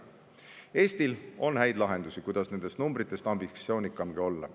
Eestil on häid lahendusi, kuidas nendest numbritest ambitsioonikamgi olla.